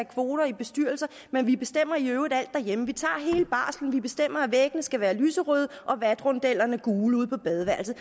kvoter i bestyrelser men vi bestemmer i øvrigt alt derhjemme vi tager hele barslen vi bestemmer at væggene skal være lyserøde og vatrondellerne gule ude på badeværelset